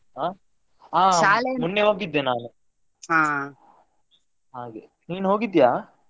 ಆ ಹಾ ಮೊನ್ನೆ ಹೋಗಿದ್ದೆ ನಾನು ಹಾಗೆ ನೀನು ಹೋಗಿದ್ಯಾ?